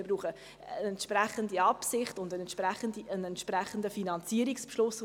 Wir brauchen die entsprechende Absicht und einen entsprechenden Finanzierungsbeschluss.